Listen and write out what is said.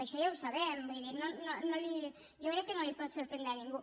això ja ho sabem vull dir jo crec que no li pot sorprendre a ningú